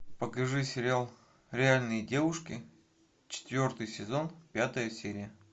покажи сериал реальные девушки четвертый сезон пятая серия